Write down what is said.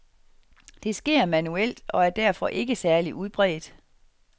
Det sker manuelt og er derfor ikke særlig udbredt.